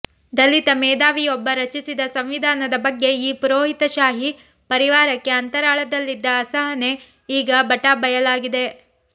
ದಲಿತ ಮೇಧಾವಿಯೊಬ್ಬ ರಚಿಸಿದ ಸಂವಿಧಾನದ ಬಗ್ಗೆ ಈ ಪುರೋಹಿತಶಾಹಿ ಪರಿವಾರಕ್ಕೆ ಅಂತರಾಳದಲ್ಲಿದ್ದ ಅಸಹನೆ ಈಗ ಬಟಾ ಬಯಲಾಗಿದೆ